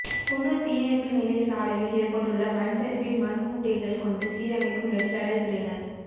குன்னூா் தீயணைப்பு நிலைய சாலையில் ஏற்பட்டுள்ள மண்சரிவை மண் மூட்டைகள் கொண்டு சீரமைக்கும் நெடுஞ்சாலை துறையினா்